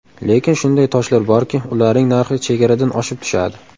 Lekin shunday toshlar borki, ularning narxi chegaradan oshib tushadi.